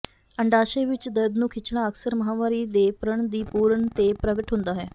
ਅੰਡਾਸ਼ਯ ਵਿੱਚ ਦਰਦ ਨੂੰ ਖਿੱਚਣਾ ਅਕਸਰ ਮਾਹਵਾਰੀ ਦੇ ਪ੍ਰਣ ਦੀ ਪੂਰਣ ਤੇ ਪ੍ਰਗਟ ਹੁੰਦਾ ਹੈ